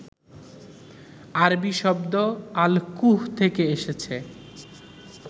আরবি শব্দ আল-কুহ থেকে এসেছে